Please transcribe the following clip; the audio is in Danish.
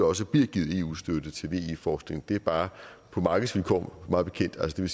også bliver givet eu støtte til ve forskning det er bare på markedsvilkår mig bekendt og det